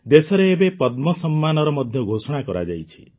ଦେଶରେ ଏବେ ପଦ୍ମ ସମ୍ମାନର ମଧ୍ୟ ଘୋଷଣା କରାଯାଇଛି